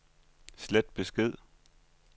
slet besked